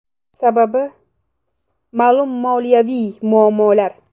Sababi: ma’lum moliyaviy muammolar.